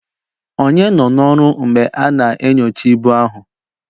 Ònye nọ n'ọrụ mgbe a na-enyocha ibu ahụ?